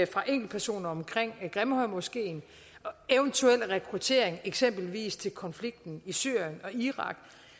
fra enkeltpersoner omkring grimhøjmoskeen og eventuelle rekrutteringer eksempelvis til konflikten i syrien og irak